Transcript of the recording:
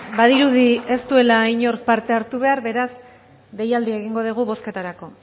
badirudi ez duela inork parte hartu behar beraz deialdia egingo dugu bozketarako